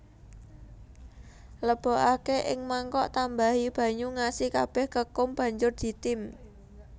Lebokake ing mangkok tambahi banyu ngasi kabeh kekum banjur ditim